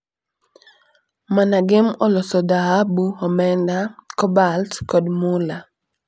MANAGEM oloso dhahabu, omenda, kobalt kod mula.